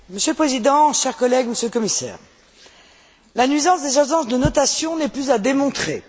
Monsieur le Président, chers collègues, Monsieur le Commissaire, la nuisance des agences de notation n'est plus à démontrer.